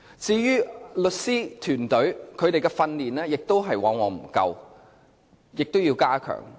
至於律師團隊的訓練亦往往不足，這方面亦需要加強。